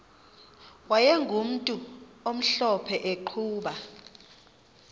wayegumntu omhlophe eqhuba